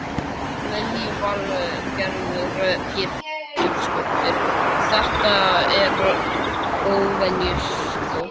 Lillý Valgerður Pétursdóttir: Þetta er óvenjustórt?